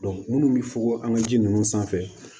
minnu bɛ fokoho an ka ji nunnu sanfɛ